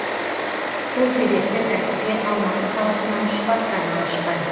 сол себепті кәсіпкер алматы қаласынан шұбатхана ашқан